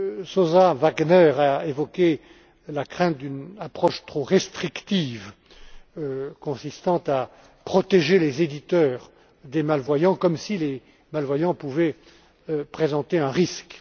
M. Sosa Wagner a évoqué la crainte d'une approche trop restrictive consistant à protéger les éditeurs des malvoyants, comme si les malvoyants pouvaient présenter un risque...